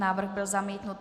Návrh byl zamítnut.